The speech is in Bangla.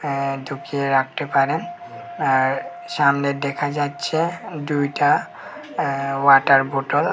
আঃ ঢুকিয়ে রাখতে পারেন আর সামনে দেখা যাচ্ছে দুইটা আঃ ওয়াটার বোটল আর--